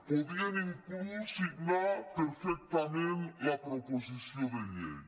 podrien inclús signar perfectament la proposició de llei